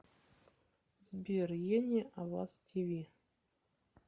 сбер ени аваз ти ви